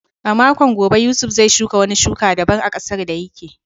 A makon gobe, Yusuf zai shuka wani shuka daban ƙasar da yake.